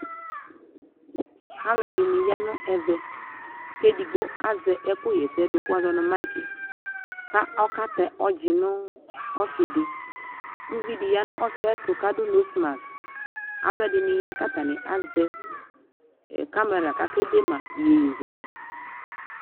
Alʋɛdini ya nʋ ɛvɛ kʋ edigbo azɛ ɛkʋ ɣɛsɛdʋ kʋ woazɔ ni maiki, kʋ ɔkatɛ ɔdzi nʋ ɔsi di Uvi di ya nʋ ɔsi yɛ ayɛtʋ kʋ adʋ nosi maski Alʋɛdini ya kʋ atani azɛ kamɛra kʋ akede ma iyeyezɛlɛ